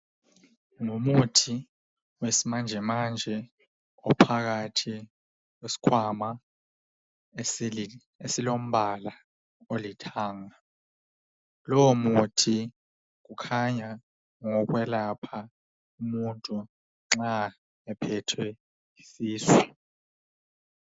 Ngumuthi wesimanjemanje ophakathi kwesikhwama esili esilombala olithanga. Lowomuthi ukhanya ngowokwelapha umuntu nxa ephethwe yisisu.